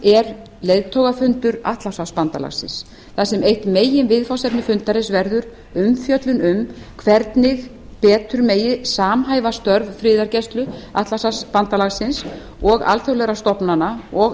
er leiðtogafundur atlantshafsbandalagsins þar sem eitt meginviðfangsefni fundarins verður umfjöllun um hvernig betur megi samhæfa störf friðargæsluliðs atlantshafsbandalagsins og alþjóðlegra stofnanna og